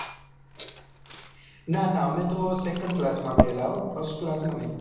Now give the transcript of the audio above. ના ના અમે તો second class માં ગયેલા હો first class માં નહિ.